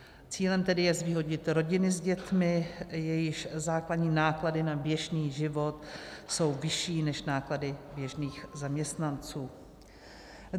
Cílem tedy je zvýhodnit rodiny s dětmi, jejichž základní náklady na běžný život jsou vyšší než náklady běžných zaměstnanců.